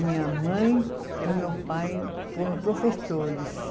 Minha mãe e meu pai foram professores.